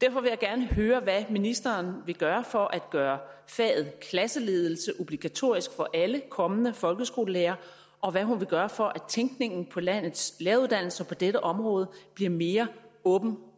derfor vil jeg gerne høre hvad ministeren vil gøre for at gøre faget klasseledelse obligatorisk for alle kommende folkeskolelærere og hvad hun vil gøre for at tænkningen på landets læreruddannelser på dette område bliver mere åben